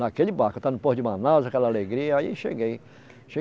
Naquele barco, eu estava no porto de Manaus, aquela alegria, aí cheguei.